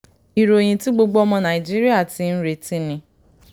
ìròyìn tí gbogbo ọmọ nàìjíríà ti ń retí ni